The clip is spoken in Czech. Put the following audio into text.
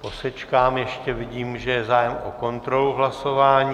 Posečkám ještě, vidím, že je zájem o kontrolu hlasování.